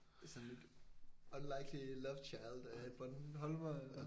Det er sådan lidt unlikely lovechild øh Bornholmer